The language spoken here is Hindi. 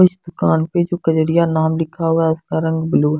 कुछ दुकान पर कुकरेरिया नाम लिखा हुआ है उसका रंग ब्लू--